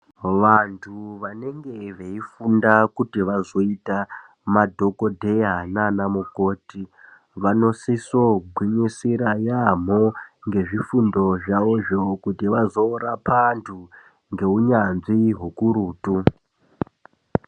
Vantu vanenge veifunda kuti vazoita madhokodheya naanamukoti, vanosisogwinyisira yaamho, ngezvifundo zvavozvo kuti vazorapa antu, ngeunyanzvi hukurutu.